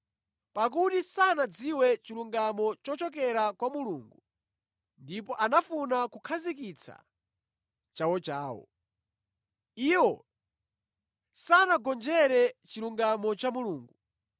Pakuti sanadziwe chilungamo chochokera kwa Mulungu ndipo anafuna kukhazikitsa chawochawo. Iwo sanagonjere chilungamo cha Mulungu.